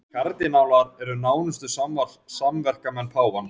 Kardinálarnir eru nánustu samverkamenn páfans